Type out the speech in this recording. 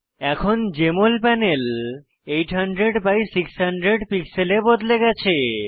এখন JML panel 800 by 600 পিক্সেলে বদলে গেছে